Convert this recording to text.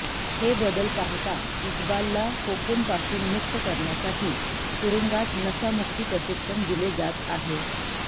हे बदल पाहता इकबालला कोकेनपासून मुक्त करण्यासाठी तुरुंगात नशामुक्ती प्रशिक्षण दिले जात आहे